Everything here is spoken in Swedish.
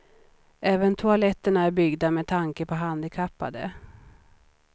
Även toaletterna är byggda med tanke på handikappade.